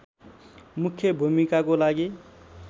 मुख्य भूमिकाको लागि